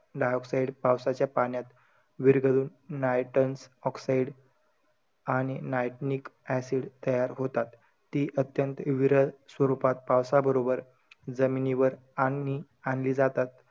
Dioxide पावसाच्या पाण्यात विरघळून, nitens oxide आणि nitenic acid तयार होतात. ती अत्यंत विरल स्वरूपात पावसाबरोबर जमिनीवर आननि~ आणली जातात.